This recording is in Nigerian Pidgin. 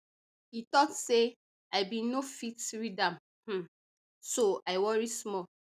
e tok say i bin no fit read am um so i worry small